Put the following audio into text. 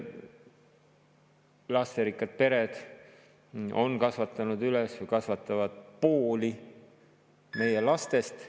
Lasterikkad pered on kasvatanud üles või kasvatavad pooli meie lastest.